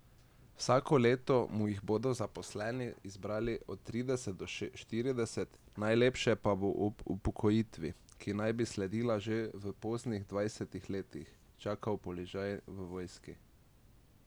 Vsako leto mu jih bodo zaposleni izbrali od trideset do štirideset, najlepše pa bo ob upokojitvi, ki naj bi sledila že v poznih dvajsetih letih, čakal položaj v vojski.